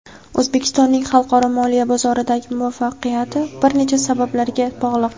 O‘zbekistonning xalqaro moliya bozordagi muvaffaqiyati bir necha sabablarga bog‘liq.